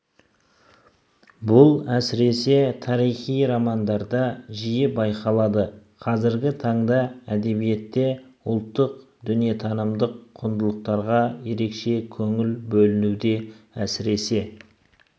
бұл әсіресе тарихи романдарда жиі байқалады қазіргі таңда әдебиетте ұлттық дүниетанымдық құндылықтарға ерекше көңіл бөлінуде әсіресе